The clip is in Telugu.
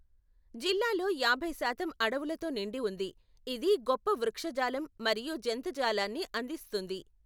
జిల్లాలో యాభై శాతం అడవులతో నిండి ఉంది, ఇది గొప్ప వృక్షజాలం మరియు జంతుజాలాన్ని అందిస్తుంది.